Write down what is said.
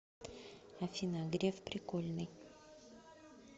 афина греф прикольный